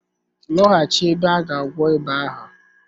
Lọghachi ebe a ga gwọọ ịba ahụ.